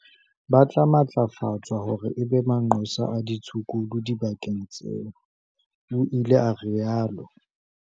"Ba tla matlafatswa hore e be manqosa a ditshukudu dibakeng tseo," o ile a rialo.